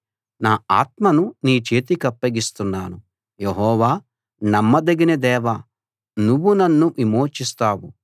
నా ఆత్మను నీ చేతికప్పగిస్తున్నాను యెహోవా నమ్మదగిన దేవా నువ్వు నన్ను విమోచిస్తావు